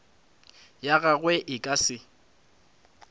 ya gagwe e ka se